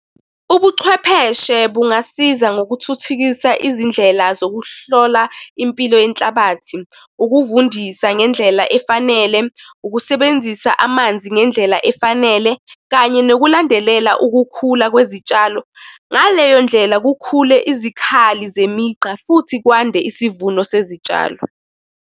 Ubuchwepheshe bungasiza ngokuthuthukisa izindlela zokuhlola impilo yenhlabathi, ukuvundisa ngendlela efanele, ukusebenzisa amanzi ngendlela efanele, kanye nokulandelela ukukhula kwezitshalo. Ngaleyo ndlela kukhule izikhali zemigqa, futhi kwande isivuno sezitshalo.